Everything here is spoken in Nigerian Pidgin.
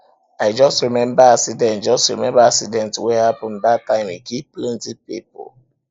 i just remember accident just remember accident wey happen dat time e kill plenty people